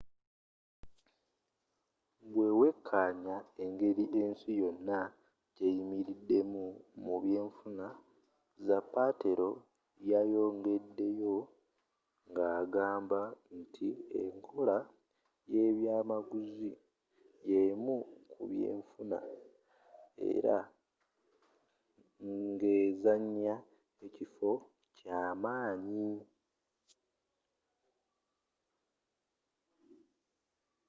bwewekaanya engeri ensi yonna gyeyimiriddemu mu byenfuna zapatero yayongedeyo ngagamba nti enkola yebyamaguzi yemu kubyenfuna era ngezanya ekifo kyamaanyi